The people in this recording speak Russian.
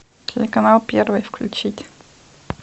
телеканал первый включить